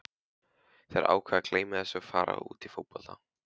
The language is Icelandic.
Þeir ákveða að gleyma þessu og fara út í fótbolta.